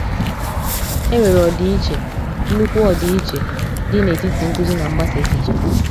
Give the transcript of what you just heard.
E nwere ọdịiche—nnukwu ọdịiche—dị n’etiti nkụzi na mgbasa èchìchè.